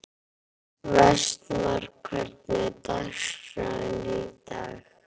Vestmar, hvernig er dagskráin í dag?